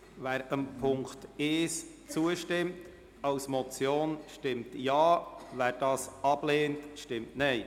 Wer Punkt 1 als Motion zustimmt, stimmt Ja, wer diesen ablehnt, stimmt Nein.